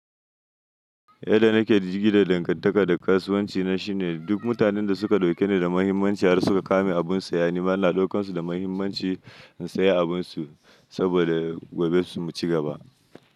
Yadda nake da jirgi da dangantaka da kasuwanci na shine, duk mutanen da suka ɗauke ni da muhimmanci har suka kame abin saya. Nima ina ɗaukan su da muhimmanci in sayi abin su saboda gobe su ci gaba.